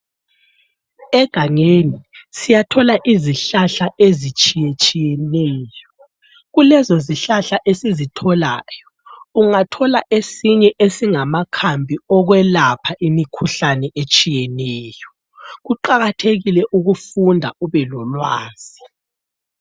Egangeni siyathola izihlahla ezitshiye tshiyeneyo, kulezo zihlahla esizitholayo ungathola esinye esingamakhambi okwelapha imikhuhlane etshiyeneyo, kuqakathekile ukufunda ube lolwazi